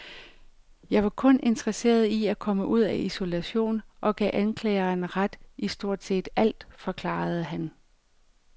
Jeg var kun interesseret i at komme ud af isolation og gav anklageren ret i stort set alt, forklarede han.